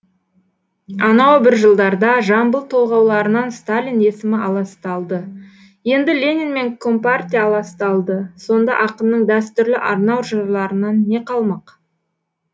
анау бір жылдарда жамбыл толғауларынан сталин есімі аласталды енді ленин мен компартия аласталды сонда ақынның дәстүрлі арнау жырларынан не қалмақ